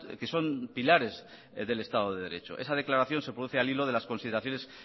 que son pilares del estado de derecho esa declaración se produce al hilo de las consideraciones